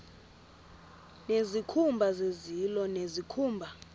nezikhumba zezilo nezikhumba